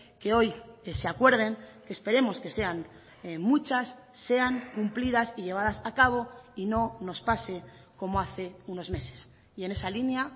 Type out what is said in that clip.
que hoy que se acuerden que esperemos que sean muchas sean cumplidas y llevadas a cabo y no nos pase como hace unos meses y en esa línea